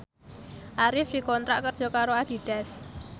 Arif dikontrak kerja karo Adidas